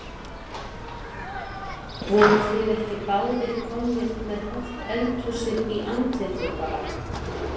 Voruð þið ekki báðir komnir með hálft eldhúsið í andlitið bara?